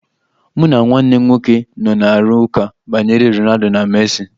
Mụ na nwanne m nwoke nọ na-arụ ụka banyere Ronaldo na Messi.